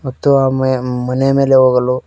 ಮತ್ತು ಆ ಮೇ ಮನೆ ಮೇಲೆ ಹೋಗಲು--